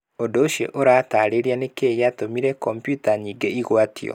Ũndũ ũcio ũratarĩria nĩ kĩ gĩatũmire kompiuta nyingĩ mũno igwatio.